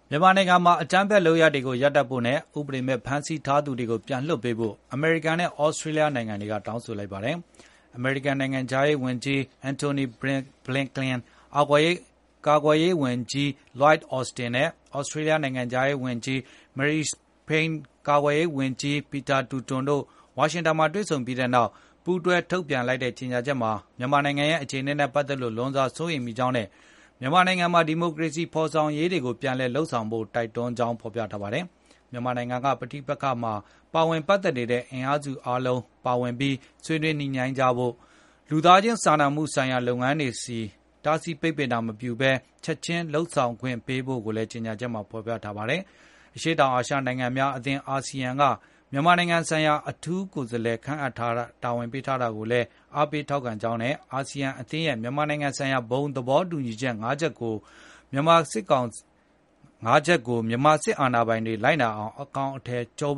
မြန်မာနိုင်ငံမှာ အကြမ်းဖက် လုပ်ရပ်တွေကိုရပ်ဖို့နဲ့ ဥပဒေမဲ့ ဖမ်းဆီးထားသူတွေကို ပြန်လွှတ်ပေးဖို့ အမေရိကန်နဲ့ သြစတြေးလျ နိုင်ငံတို့က တောင်းဆိုလိုက်ကြပါတယ်။ အမေရိကန် နိုင်ငံခြားရေးဝန်ကြီး Antony Blinken ကာကွယ်ရေးဝန်ကြီး Lloyd Austin နဲ့ သြစတြေးလျ နိုင်ငံခြားရေးဝန်ကြီး Marise Payne ကာကွယ်ရေးဝန်ကြီး Peter Dutton တို့ ဝါရှင်တန်မှာ တွေ့ဆုံခဲ့ပြီးနောက် ပူးတွဲ ထုတ်ပြန်လိုက်တဲ့ ကြေညာချက်မှာတော့ မြန်မာနိုင်ငံရဲ့ အခြေအနေနဲ့ ပတ်သက်လို့ လွန်စွာစိုးရိမ်မိကြောင်းနဲ့ မြန်မာနိုင်ငံမှာ ဒီမိုကရေစီဖေါ်ဆောင်ရေးတွေကို ပြန်လည်လုပ်ဆောင်ဖို့လည်း တိုက်တွန်းထားပါတယ်။ မြန်မာနိုင်ငံက ပဋိပက္ခမှာ ပတ်သက်နေတဲ့ အင်အားစုအားလုံး ပါဝင်ပြီး၊ ဆွေးနွေးညှိနှိုင်းကြဖို့၊ လူသားချင်းစာနာမှုဆိုင်ရာ လုပ်ငန်းတွေကို တားဆီးပိတ်ပင်ခြင်းမပြုဘဲ ချက်ခြင်းလုပ်ဆောင်ခွင့်ပေးဖို့လည်း ကြေငြာချက်မှာ ဖော်ပြထားပါတယ်။ အရှေ့တောင်အာရှ နိုင်ငံများအသင်း (ASEAN) က မြန်မာနိုင်ငံဆိုင်ရာ အထူးကိုယ်စားလှယ် ခန့်အပ်တာဝန်ပေးခဲ့တာကို အားပေးကြောင်းနဲ့ အာဆီယံအသင်းရဲ့ မြန်မာနိုင်ငံဆိုင်ရာ ဘုံသဘောတူညီချက် ၅ ခုကို မြန်မာစစ်အာဏာပိုင်တွေ လိုက်နာအကောင်အထည်ဖော်